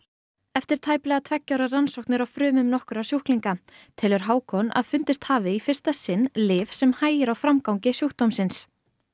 eftir tæplega tveggja ára rannsóknir á frumum nokkurra sjúklinga telur Hákon að fundist hafi í fyrsta sinn lyf sem hægir á framgangi sjúkdómsins